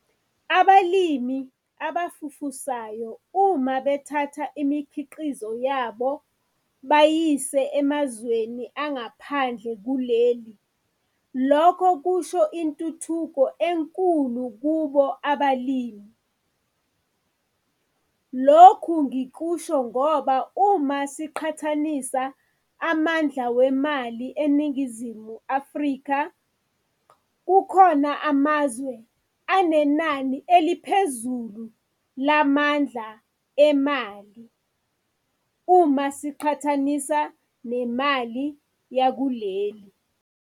Abalimi abafufusayo uma bethatha imikhiqizo yabo bayiyise emazweni angaphandle kuleli, lokho kusho intuthuko enkulu kubo abalimi. Lokhu ngikusho ngoba uma siqathanisa amandla wemali eNingizimu Afrika, kukhona amazwe anenani eliphezulu lamandla emali uma siqatshanisa nemali yakuleli.